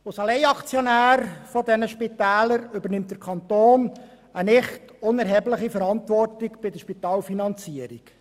Als Alleinaktionär dieser Spitäler übernimmt der Kanton eine nicht unerhebliche Verantwortung bei der Spitalfinanzierung.